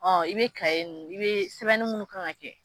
Ɔ i be kaye nunnu sɛbɛnnu munnu kan ka kɛ